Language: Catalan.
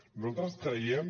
nosaltres creiem